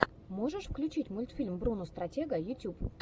можешь включить мультфильм бруно стратега ютюб